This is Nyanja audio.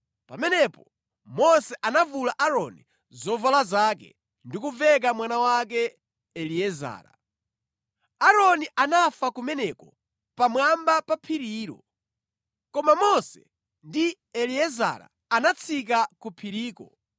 Pamenepo Mose anavula Aaroni zovala zake ndi kuveka mwana wake Eliezara. Aaroni anafa kumeneko pamwamba pa phirilo. Koma Mose ndi Eliezara anatsika ku phiriko,